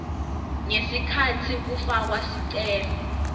ngesikhatsi kufakwa sicelo